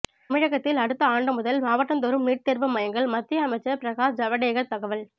தமிழகத்தில் அடுத்த ஆண்டு முதல் மாவட்டந்தோறும் நீட் தேர்வு மையங்கள் மத்திய அமைச்சர் பிரகாஷ் ஜவடேகர் தகவல்